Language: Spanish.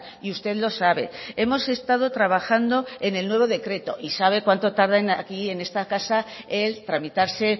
y usted lo sabe hemos estado trabajando en el nuevo decreto y sabe cuánto tardan aquí en esta casa el tramitarse